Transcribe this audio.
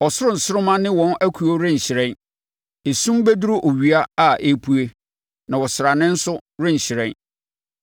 Ɔsoro nsoromma ne wɔn akuo renhyerɛn. Esum bɛduru owia a ɛrepue na ɔsrane nso renhyerɛn.